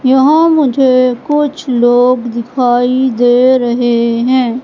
यहां मुझे कुछ लोग दिखाई दे रहे हैं।